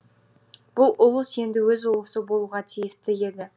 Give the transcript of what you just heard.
бұл ұлыс енді өз ұлысы болуға тиісті еді